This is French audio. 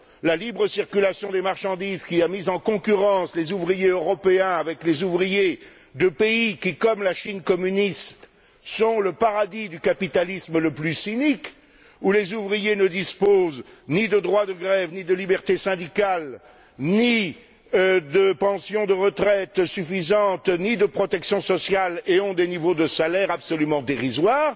La libre circulation des marchandises, qui a mis en concurrence les ouvriers européens avec les ouvriers de pays qui, comme la Chine communiste, sont le paradis du capitalisme le plus cynique, où les ouvriers ne disposent ni de droit de grève, ni de libertés syndicales, ni de pensions de retraite suffisantes, ni de protection sociale, et ont des niveaux de salaires absolument dérisoires.